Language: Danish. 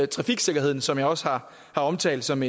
trafiksikkerheden som jeg også har omtalt som